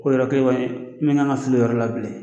Ko yɔrɔ kelen kɔni, i ma kan ka fili o yɔrɔ la bilen.